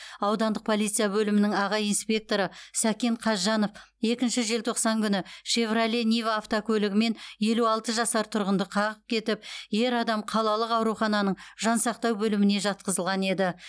аудандық полиция бөлімінің аға инспекторы сәкен қазжанов екінші желтоқсан күні шевроле нива автокөлігімен елу алты жасар тұрғынды қағып кетіп ер адам қалалық аурухананың жансақтау бөліміне жатқызылған еді